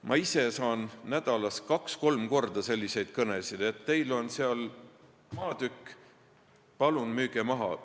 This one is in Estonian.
Ma ise saan nädalas kaks-kolm korda selliseid kõnesid, et teil on seal maatükk, palun müüge maha.